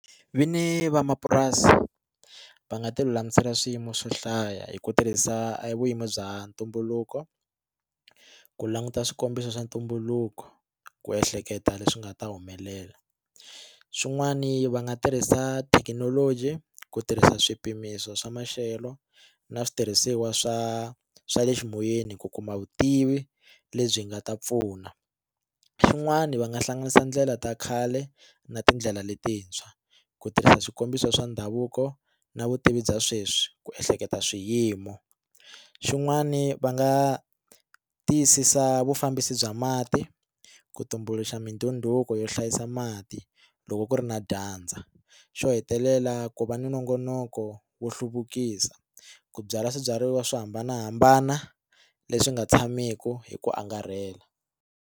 Vinyi va mapurasi va nga tilulamisela swiyimo swo hlaya hi ku tirhisa vurimi bya ntumbuluko ku languta swikombiso swa ntumbuluko ku ehleketa leswi nga ta humelela swin'wani va nga tirhisa thekinoloji ku tirhisa swipimiso swa maxelo na switirhisiwa swa swa le ximoyeni ku kuma vutivi lebyi nga ta pfuna xin'wana va nga hlanganisa ndlela ta khale na tindlela letintshwa ku tirhisa swikombiso swa ndhavuko na vutivi bya sweswi ku ehleketa swiyimo xin'wani va nga tiyisisa vufambisi bya mati ku tumbuluxa mindhunduko yo hlayisa mati loko ku ri na dyandza xo hetelela ku va ni nongonoko wo hluvukisa ku byala swibyariwa swo hambanahambana leswi nga tshamiki hi ku angarhela.